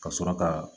Ka sɔrɔ ka